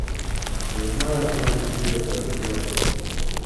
я знаю твои секреты открой